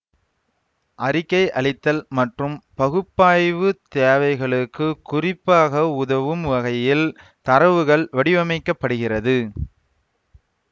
அறிக்கை அளித்தல் மற்றும் பகுப்பாய்வுத் தேவைகளுக்கு குறிப்பாக உதவும் வகையில் தரவுகள் வடிவமைக்கப்படுகிறது